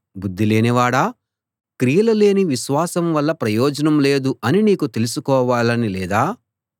బుద్ధిలేనివాడా క్రియలు లేని విశ్వాసం వల్ల ప్రయోజనం లేదు అని నీకు తెలుసుకోవాలని లేదా